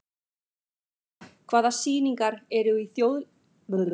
Úranía, hvaða sýningar eru í leikhúsinu á þriðjudaginn?